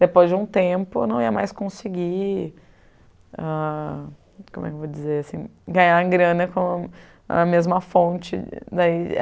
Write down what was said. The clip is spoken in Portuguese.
Depois de um tempo, eu não ia mais conseguir ah como é que eu vou dizer assim, ganhar grana com a mesma fonte. Daí